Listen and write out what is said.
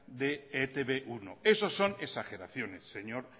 de e te be uno eso son exageraciones señor